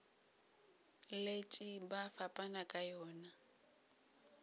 letše ba fapana ka yona